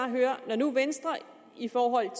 høre når nu venstre i forhold